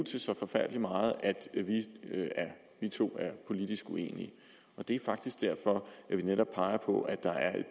til så forfærdelig meget at vi to er politisk uenige det er faktisk derfor at vi netop peger på at der er et